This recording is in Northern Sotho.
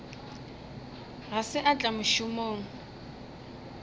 ga se a tla mošomong